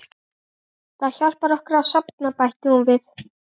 Ísalind, hvað er á dagatalinu mínu í dag?